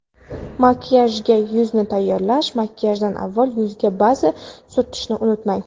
Makiyajga yuzni tayyorlash Makiyajdan avval yuzga baza surtishni unutmang.